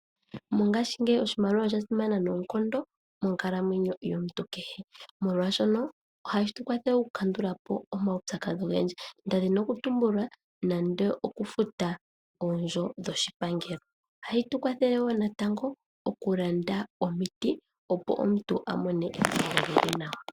Mongashingeyi oshimaliwa osha simana noonkondo monkalamwenyo yomuntu kehe, molwaashoka ohashi tu kwathele oku kandula po omaupyakadhi ogendji nda dhina okutumbula nande okufuta oondjo dhoshipangelo, ohayi tu kwathele wo natango oku landa omiti, opo omuntu a mone epango li li nawa.